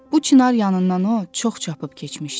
Bu çınar yanından o çox çapıb keçmişdi.